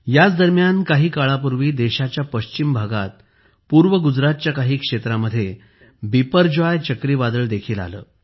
याच दरम्यान काही काळापूर्वी देशाच्या पश्चिम भागात पूर्व गुजरातच्या काही क्षेत्रामध्ये बिपरजॉय चक्रीवादळ देखील आले